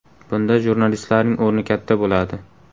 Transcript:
Bunda jurnalistlarning o‘rni katta bo‘ladi.